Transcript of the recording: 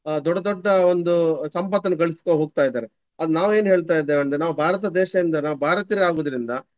ಅಹ್ ದೊಡ್ಡ ದೊಡ್ಡ ಒಂದು ಸಂಪತ್ತನ್ನು ಗಳಿಸ್ಕೊಂಡು ಹೋಗ್ತಾ ಇದ್ದಾರೆ. ಅದು ನಾವು ಏನು ಹೇಳ್ತಾ ಇದ್ದೇವೆ ಅಂದ್ರೆ ನಾವು ಭಾರತ ದೇಶದಿಂದ ನಾವು ಭಾರತೀಯರೇ ಆಗುವುದ್ರಿಂದ.